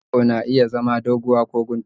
wayar 'yar yawo na iya zama doguwa ko kuntuwa